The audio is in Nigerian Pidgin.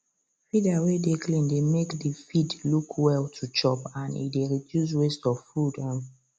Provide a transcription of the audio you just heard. feeder way dey clean dey make the feed look well to chop and e dey reduce waste of food um